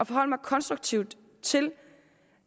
forholde mig konstruktivt til